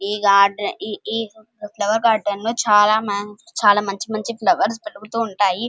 ఈ గార్డెన్ లో ఈ ఫ్లవర్ గార్డెన్ లో చాలా మంచి మంచి ఫ్లవర్స్ పెరుగుతూ ఉంటాయి --